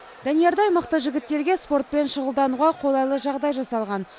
даниярдай мықты жігіттерге спортпен шұғылдануға қолайлы жағдай жасалған